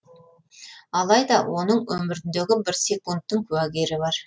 алайда оның өміріндегі бір секундтың куәгері бар